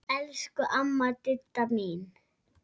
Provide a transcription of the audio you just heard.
Elsku amma Didda mín.